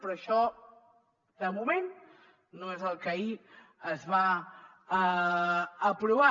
però això de moment no és el que ahir es va aprovar